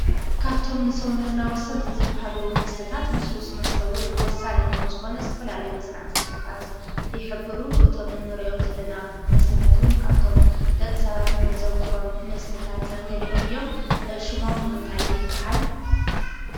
ካብቶም ንሰውነትና ወሰንቲ ዝበሃሉ መስተታት ሉስሉስ መስተ እውን ወሳኒ ከምዝኾነ ዝተፈላለዩ መፅናዕቲታት ይሕብሩ፡፡ እቶም ንሪኦም ዘለና መስተታት እውን ካብቶም ደቂ ሰባት እነ ዘውትሮም መስተታት ገሊኦም እዮም፡፡ ሽሞም እንታይ ይበሃል?